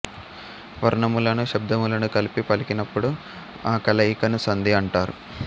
వర్ణములను శబ్దములను కలిపి పలికినప్పుడు ఆ కలయికను సంధి అంటారు